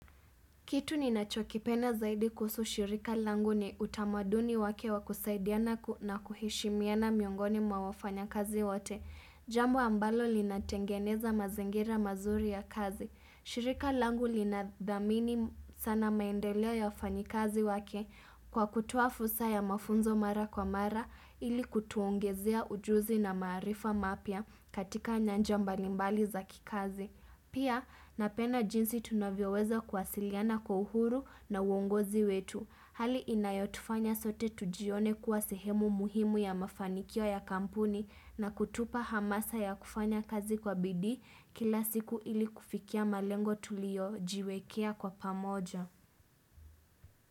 Kitu ninachokipenda zaidi kuhusu shirika langu ni utamaduni wake wakusaidiana na kuheshimiana miongoni mwa wafanyakazi wote. Jambo ambalo linatengeneza mazingira mazuri ya kazi. Shirika langu linadhamini sana maendeleo ya wafanyikazi wake kwa kutoa fursa ya mafunzo mara kwa mara ili kutuongezea ujuzi na maarifa mapya katika nyanja mbalimbali za kikazi. Pia, napenda jinsi tunavyoweza kuwasiliana kwa uhuru na uongozi wetu. Hali inayotufanya sote tujione kuwa sehemu muhimu ya mafanikio ya kampuni na kutupa hamasa ya kufanya kazi kwa bidii kila siku ili kufikia malengo tuliojiwekea kwa pamoja.